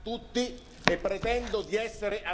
e pretendo di essere ascoltato.